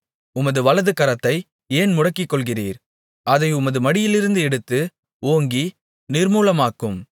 உமது வலதுகரத்தை ஏன் முடக்கிக்கொள்ளுகிறீர் அதை உமது மடியிலிருந்து எடுத்து ஓங்கி நிர்மூலமாக்கும்